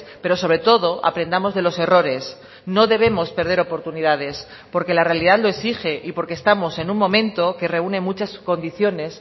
pero sobre todo aprendamos de los errores no debemos perder oportunidades porque la realidad lo exige y porque estamos en un momento que reúne muchas condiciones